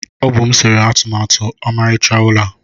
Ọ bụ m sere atụmatụ ọmarịcha ụlọ a.